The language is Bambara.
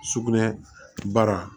Sugunɛ baara